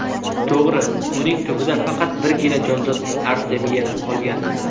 To‘g‘ri, uning tubida faqat birgina jonzot artemiya qolgan.